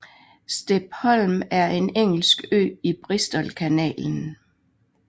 Steep Holm er en engelsk ø i Bristolkanalen